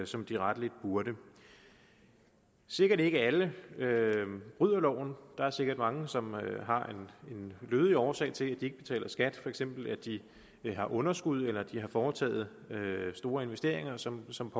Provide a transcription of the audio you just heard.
som de rettelig burde sikkert ikke alle bryder loven der er sikkert mange som har en lødig årsag til at de ikke betaler skat for eksempel at de har underskud eller har foretaget store investeringer som som